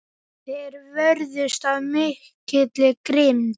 Þeir vörðust af mikilli grimmd.